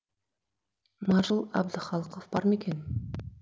маршал әбдіқалықов бар ма екен